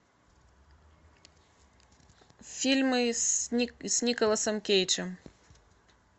фильмы с николасом кейджем